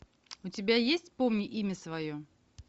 у тебя есть помни имя свое